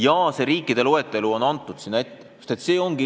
Ja kirjas on ka võimalike riikide loetelu.